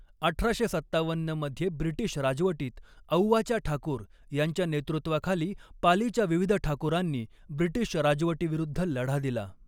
अठराशे सत्तावन्न मध्ये ब्रिटीश राजवटीत औवाच्या ठाकूर यांच्या नेतृत्वाखाली पालीच्या विविध ठाकूरांनी ब्रिटीश राजवटीविरुद्ध लढा दिला.